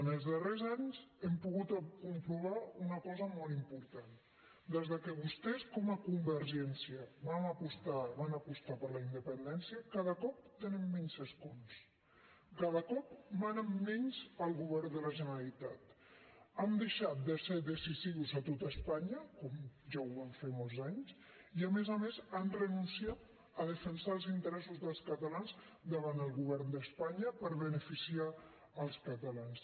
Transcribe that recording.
en els darrers anys hem pogut comprovar una cosa molt important des que vostès com a convergència van apostar per la independència cada cop tenen menys escons cada cop manen menys al govern de la generalitat han deixat de ser decisius a tota espanya com ja ho van fer molts anys i a més a més han renunciat a defensar els interessos dels catalans davant del govern d’espanya per beneficiar els catalans